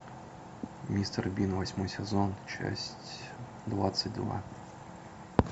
мистер бин восьмой сезон часть двадцать два